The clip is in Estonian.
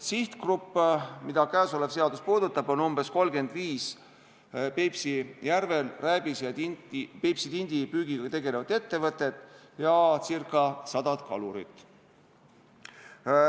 Sihtgrupp, mida käesolev seadus puudutab, on umbes 35 Peipsi järvel rääbise ja Peipsi tindi püügiga tegelevat ettevõtet ja ca sada kalurit.